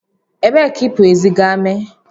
Ebee ka ipu ezi ga-eme?